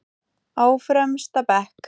Á fremsta bekk.